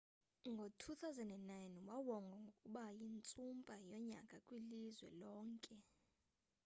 ngo-2009 wawongwa ngokuba yintsumpa yonyaka kwilizwe lonke